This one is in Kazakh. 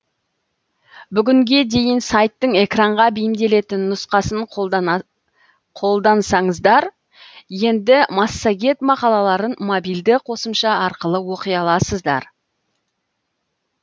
бүгінге дейін сайттың экранға бейімделетін нұсқасын қолдансаңыздар енді массагет мақалаларын мобильді қосымша арқылы оқи аласыздар